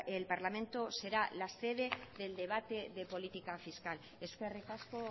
el parlamento será la sede del debate de política fiscal eskerrik asko